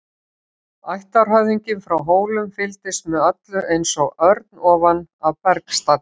Ættarhöfðinginn frá Hólum fylgdist með öllu eins og örn ofan af bergstalli.